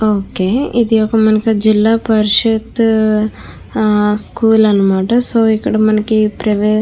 ఒకే ఇది ఒక మనకి జిల్లా ప్రసిధ్ స్కూల్ అనమాట సో ఇక్కడ మనకి ప్రవే --